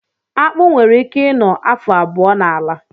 Akpụ nwere ike ị nọ afọ abụọ n'ala